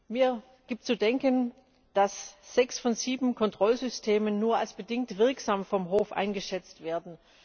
Mir gibt zu denken, dass sechs von sieben Kontrollsystemen vom Hof nur als bedingt wirksam eingeschätzt werden.